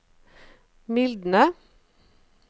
mildne